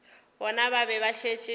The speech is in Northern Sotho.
bona ba be ba šetše